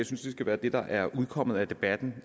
synes det skal være det der er udkommet af debatten